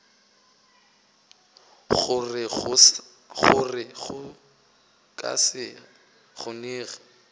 gore go ka se kgonege